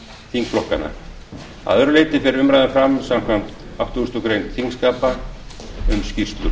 þingflokkanna að öðru leyti fer umræðan fram samkvæmt áttugustu greinar þingskapa um skýrslur